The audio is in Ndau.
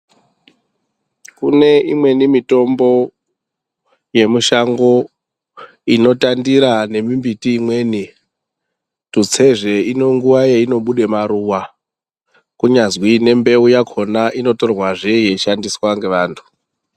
Kune imweni mitombo yemishango inotandira nemimbiti imweni. Tutse zvee ine nguwa yainobuda maruwa. Kunyazwi nembeu yakhona inotorwa zve yeishandiswa ngevantu.